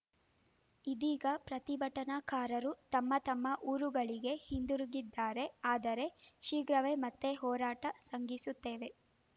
ಇದೀಗ ಪ್ರತಿಭಟನಾಕಾರರು ತಮ್ಮ ತಮ್ಮ ಊರುಗಳಿಗೆ ಹಿಂದಿರುಗಿದ್ದಾರೆ ಆದರೆ ಶೀಘ್ರವೇ ಮತ್ತೆ ಹೋರಾಟ ಸಂಘಿಸುತ್ತೇವೆ